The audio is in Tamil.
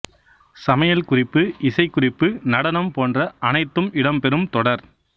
சமையல் குறிப்பு இசை குறிப்பு நடனம் போன்ற அனைத்தும் இடம்பெறும் தொடர்